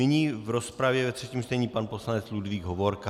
Nyní v rozpravě ve třetím čtení pan poslanec Ludvík Hovorka.